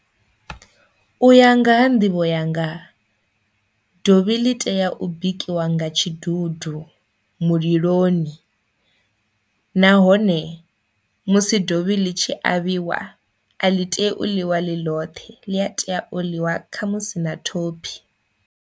U ya nga ha nḓivho yanga dovhi ḽi tea u bikiwa nga tshidudu muliloni nahone musi dovhi ḽi tshi avhiwa a ḽi tea u ḽiwa ḽi ḽothe ḽi a tea u ḽiwa kha musi na thophi.